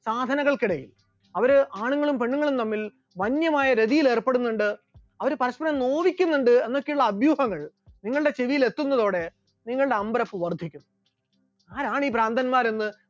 സാധനകൾക്കിടയിൽ അവർ ആണുങ്ങളും പെണ്ണുങ്ങളും തമ്മിൽ വന്യമായ രതിയിൽ ഏർപ്പെടുന്നുണ്ട് എന്ന്, അവർ പരസ്പരം നോവിക്കുന്നുണ്ട് എന്നൊക്കെയുള്ള അഭ്യൂഹങ്ങൾ നിങ്ങളുടെ ചെവിയിൽ എത്തുന്നതോടെ നിങ്ങളുടെ അമ്പരപ്പ് വർധിക്കും. ആരാണീ ഭ്രാന്തന്മാർ എന്ന്